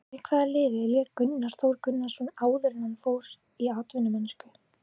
Með hvaða liði lék Gunnar Þór Gunnarsson áður en hann fór í atvinnumennsku?